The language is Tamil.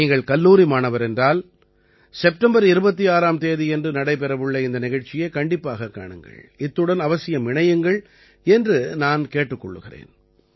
நீங்கள் கல்லூரி மாணவர் என்றால் செப்டம்பர் 26ஆம் தேதியன்று நடைபெறவுள்ள இந்த நிகழ்ச்சியைக் கண்டிப்பாகக் காணுங்கள் இத்துடன் அவசியம் இணையுங்கள் என்று நான் கேட்டுக் கொள்கிறேன்